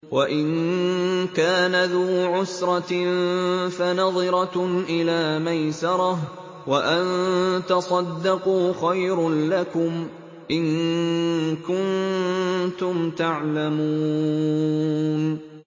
وَإِن كَانَ ذُو عُسْرَةٍ فَنَظِرَةٌ إِلَىٰ مَيْسَرَةٍ ۚ وَأَن تَصَدَّقُوا خَيْرٌ لَّكُمْ ۖ إِن كُنتُمْ تَعْلَمُونَ